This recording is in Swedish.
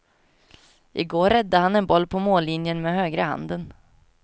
I går räddade han en boll på mållinjen med högra handen.